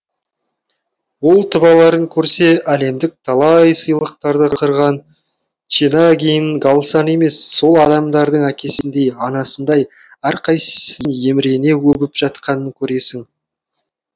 ол тұбаларын көрсе әлемдік талай сыйлықтарды қырған чинагийн галсан емес сол адамдардың әкесіндей анасындай әрқайсысын емірене өбіп жатқанын көресің